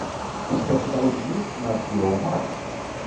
у тебя в каталоге есть нат гео марс